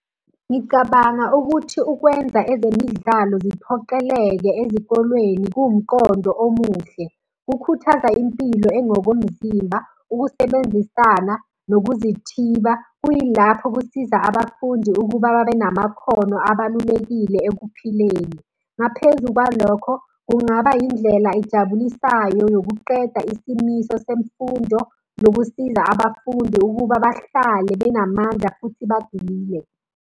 Ngicabanga ukuthi ukwenza ezemidlalo ziphoqeleke ezikolweni kuwumqondo omuhle. Kukhuthaza impilo engokomzimba, ukusebenzisana, nokuzithiba. Kuyilapho kusiza abafundi ukuba babe namakhono abalulekile ekuphileni. Ngaphezu kwalokho, kungaba yindlela ejabulisayo yokuqeda isimiso semfundo, nokusiza abafundi ukuba bahlale benamandla futhi bajimile.